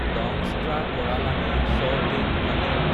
দংষ্ট্ৰাকৰালানি চ তে মুখানি